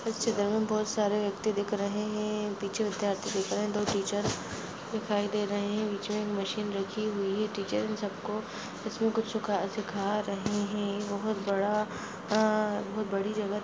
इस चित्र में बोहत सारे व्यक्ति दिख रहे है पीछे विद्यार्थी दिख रहे है दो टीचर दिखाई दे रहे है बीचमे एक मशीन रखी हुई है टीचर इन सबको उसमे कुछ सुखा-सीखा रहे है बोहत बड़ा अअअ बहुत बड़ी जगह---